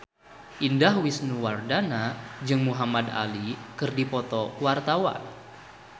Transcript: Indah Wisnuwardana jeung Muhamad Ali keur dipoto ku wartawan